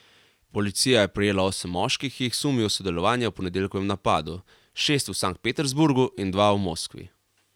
Policija je prijela osem moških, ki jih sumijo sodelovanja v ponedeljkovem napadu, šest v Sankt Peterburgu in dva v Moskvi.